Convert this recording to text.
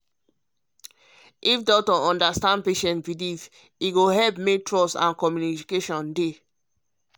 if doctor understand patient belief e go help make trust and communication dey.